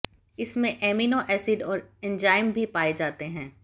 इसमें amino acid और enzyme भी पाए जाते हैं